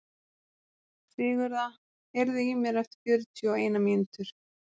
Sigurða, heyrðu í mér eftir fjörutíu og eina mínútur.